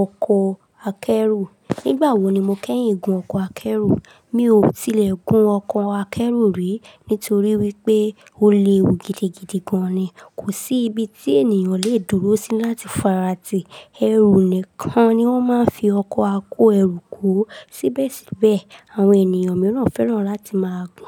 ọkọ̀ akẹ́rù? Nígbà wo ni mo kẹ́yìn gun ọkọ̀ akẹ́rù? Mi ò tilẹ̀ gun ọkọ̀ akẹ́rù rí, nítorí wípé o léwu gidigidi gan ni, kò sí ibi tí ènìyàn le è dúró sí láti fàárátì. Ẹrù nìkan ni wón máa ń fi ọkọ̀ kó ẹrù kúrò. Síbẹ̀síbẹ̀, àwọn ènìyàn mìíràn fẹ́ràn láti máa gun.